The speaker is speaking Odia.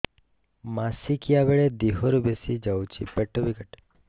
ମାସିକା ବେଳେ ଦିହରୁ ବେଶି ଯାଉଛି ପେଟ ବି କାଟେ